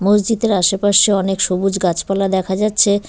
মসজিদের আশেপাশে অনেক সবুজ গাছপালা দেখা যাচ্ছে।